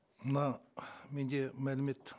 мына менде мәлімет